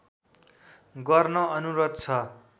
गर्न अनुरोध छ